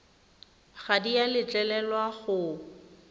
ga di a letlelelwa go